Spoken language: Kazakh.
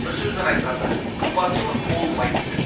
бір сөзбен айтқанда қымбатшылық болмайды